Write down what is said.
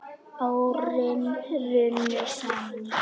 Árin runnu saman í eitt.